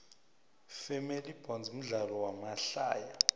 family bonds mdlalo wamahtaya